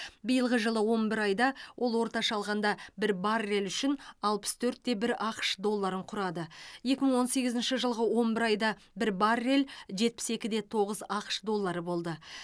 биылғы жылғы он бір айда ол орташа алғанда бір баррель үшін алпыс төртте бір ақш долларын құрады екі мың он сегізінші жылғы он бір айда бір баррель жетпіс екіде тоғыз ақш доллары болды